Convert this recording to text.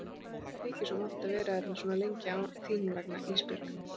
Æ mér þykir svo vont að vera hérna svona lengi þín vegna Ísbjörg.